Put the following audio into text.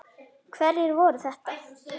Hverjir voru þetta?